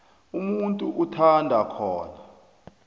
umuntu athanda khona